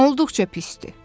Olduqca pisdir.